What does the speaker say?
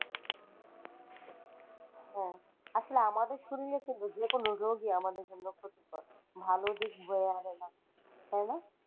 হ্যাঁ আসলে আমাদের শরীরে বুঝলে যেকোনো রোগই আমাদের জন্য ক্ষতিকর ভালো দিক বয়ে আনে না তাইনা?